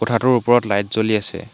কোঠাটোৰ ওপৰত লাইট জ্বলি আছে।